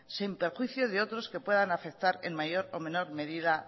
sin prejuicio de otros que puedan afectar en mayor o menor medida